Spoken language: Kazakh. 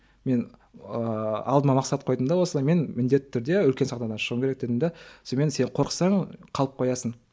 мен ыыы алдыма мақсат қойдым да осылай мен міндетті түрде үлкен сахнадан шығуым керек дедім де сонымен сен қорықсаң қалып қоясың